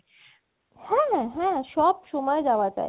হ্যা হ্যা সব সময় যাওয়া যায়